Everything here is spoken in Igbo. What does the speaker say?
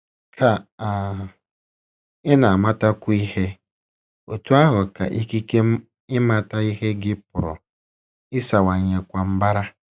Ka um ị na - amatakwu ihe, otú ahụ ka ikike ịmata ihe gị pụrụ ịsawanyekwa mbara. ”